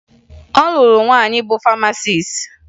Ọ lụrụ nwaanyị bụ famasis